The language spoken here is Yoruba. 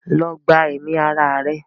go and commit suicide!